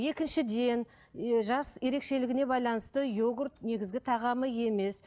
екіншіден і жас ерекшілігіне байланысты йогурт негізгі тағамы емес